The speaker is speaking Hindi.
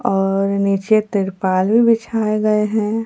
और नीचे त्रिपाल भी बिछाए गए हैं।